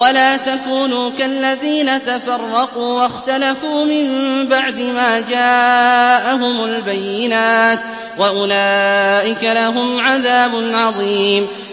وَلَا تَكُونُوا كَالَّذِينَ تَفَرَّقُوا وَاخْتَلَفُوا مِن بَعْدِ مَا جَاءَهُمُ الْبَيِّنَاتُ ۚ وَأُولَٰئِكَ لَهُمْ عَذَابٌ عَظِيمٌ